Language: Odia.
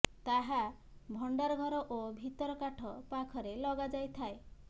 ତାହା ଭଣ୍ଡାର ଘର ଓ ଭିତର କାଠ ପାଖରେ ଲଗାଯାଇଥାଏ